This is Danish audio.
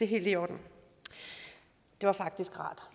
helt i orden det var faktisk rart